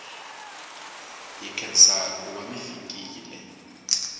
hi nkhensa kuva mifikile